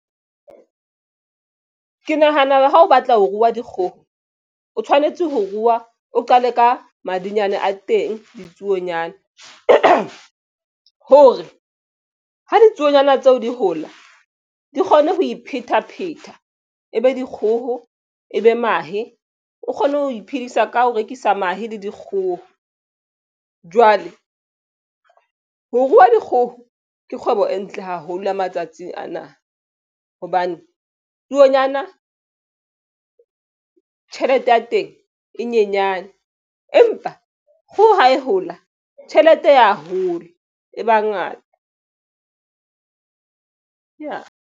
Ke nahana ha o batla ho rua dikgoho, o tshwanetse ho ruwa o qale ka madinyane a teng ditsuonyana hore ha ditsuonyana tseo di hola di kgone ho iphetapheta e be dikgoho e be mahe o kgone ho iphedisa ka ho rekisa mahe le dikgoho. Jwale ho ruwa dikgoho ke kgwebo e ntle haholo matsatsing ana hobane tsuonyana tjhelete ya teng e nyenyane, empa ho ho e hula tjhelete ya hola. E ba ngata ya.